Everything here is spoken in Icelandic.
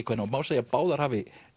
kvenna og má segja að báðar hafi